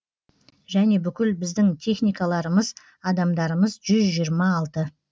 және бүкіл біздің техникаларымыз адамдарымыз жүз жиырма алты